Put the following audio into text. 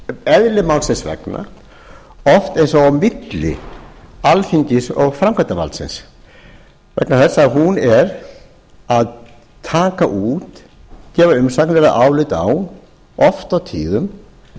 eðli málsins vegna oft eins og á milli alþingis og framkvæmdarvaldinu vegna þess að hún að taka út gefa umsagnir eða álit á oft á tíðum